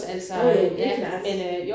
Jo jo det klart